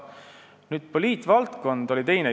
Teie teine küsimus oli poliitvaldkonna kohta.